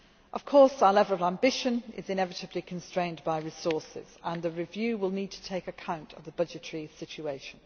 Croatia. Of course, our level of ambition is inevitably constrained by resources, and the review will need to take account of the budgetary situation.